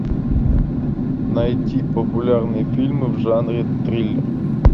найти популярные фильмы в жанре триллер